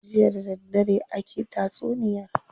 Jiya da daddare aki tatsuniyar.